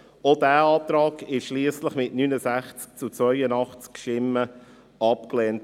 Dieser Antrag wurde schliesslich mit 69 zu 82 Stimmen abgelehnt.